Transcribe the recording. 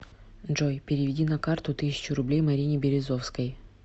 джой переведи на карту тысячу рублей марине березовской